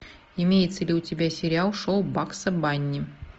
имеется ли у тебя сериал шоу багса банни